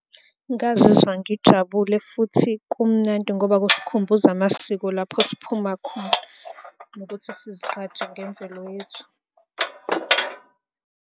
Ngazizwa ngijabule futhi kumnandi ngoba kusikhumbuza amasiko lapho siphuma khona, ukuthi sizigqaje ngemvelo yethu.